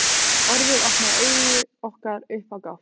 Orðið opnaði augu okkar upp á gátt.